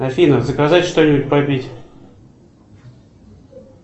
афина заказать что нибудь попить